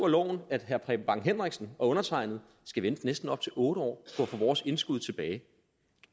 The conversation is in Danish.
loven at herre preben bang henriksen og undertegnede skal vente næsten op til otte år på at få vores indskud tilbage